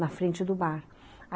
Na frente do bar.